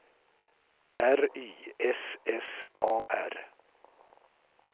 R Y S S A R